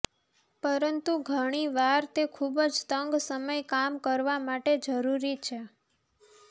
પરંતુ ઘણી વાર તે ખૂબ જ તંગ સમય કામ કરવા માટે જરૂરી છે